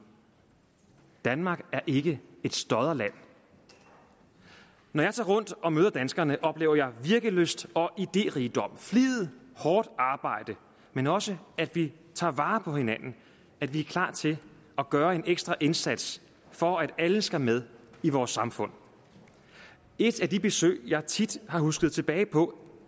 danmark er ikke et stodderland når jeg tager rundt og møder danskerne oplever jeg virkelyst og idérigdom flid og hårdt arbejde men også at vi tager vare på hinanden at vi er klar til at gøre en ekstra indsats for at alle skal med i vores samfund et af de besøg jeg tit har husket tilbage på